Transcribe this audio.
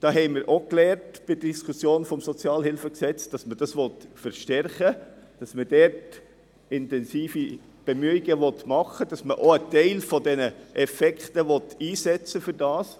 Wir haben bei der Diskussion des SHG gelernt, dass man dies verstärken will, dass man dort intensive Bemühungen vorsieht, dass man auch einen Teil von diesen Effekten dafür einsetzen will.